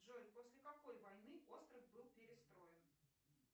джой после какой войны остров был перестроен